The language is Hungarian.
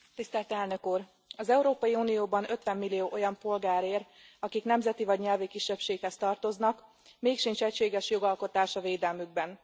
Elnök Úr, az Európai Unióban 50 millió olyan polgár él, akik nemzeti vagy nyelvi kisebbséghez tartoznak, mégsincs egységes jogalkotás a védelmükben.